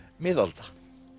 miðalda